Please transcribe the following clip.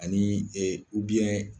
A ni ɛ